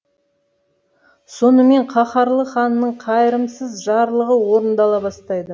сонымен қаһарлы ханның қайырымсыз жарлығы орындала бастайды